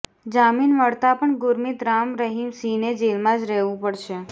જામીન મળતા પણ ગુરમીત રામ રહીમ સિંહને જેલમાં જ રહેવું પડશે